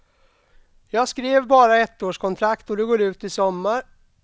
Jag skrev bara ettårskontrakt och det går ut i sommar.